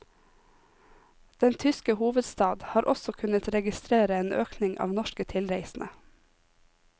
Den tyske hovedstad har også kunnet registrere en økning av norske tilreisende.